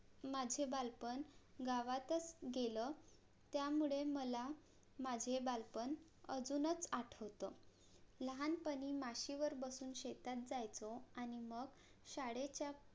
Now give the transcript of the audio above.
माझे बालपण गावातच गेलं त्यामुळे मला माझे बालपण अजूनच आठवत लहान पणी म्हशीवर बसून शेतात जायचो आणि मग शाळेच्या